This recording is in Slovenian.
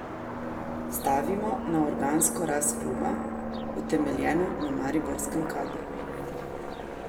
Stavimo na organsko rast kluba, utemeljeno na mariborskem kadru.